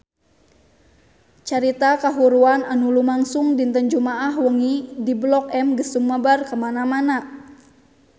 Carita kahuruan anu lumangsung dinten Jumaah wengi di Blok M geus sumebar kamana-mana